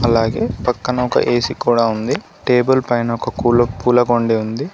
అలాగే పక్కన ఒక ఏసీ కూడా ఉంది టేబుల్ పైన ఒక పూల కుండీ ఉంది.